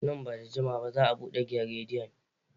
Nan ba da jimawa ba za a bude gidan rediyon.